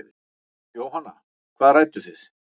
Jóhanna: Hvað rædduð þið?